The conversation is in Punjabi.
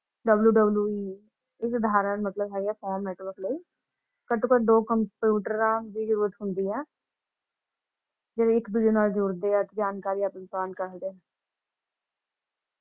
WWE